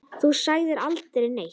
Þú sagðir aldrei neitt.